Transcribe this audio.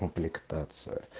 комплектация